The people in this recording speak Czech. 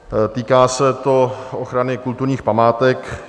Týká se to ochrany kulturních památek.